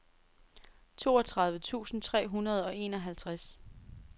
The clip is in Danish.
toogtredive tusind tre hundrede og enoghalvtreds